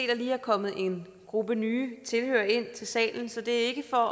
der lige er kommet en gruppe nye tilhørere ind til salen så det er ikke for